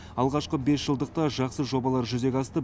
алғашқы бесжылдықта жақсы жобалар жүзеге асты